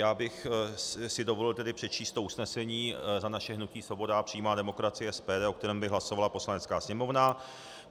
Já bych si dovolil tedy přečíst to usnesení za naše hnutí Svoboda a přímá demokracie, SPD, o kterém by hlasovala Poslanecká sněmovna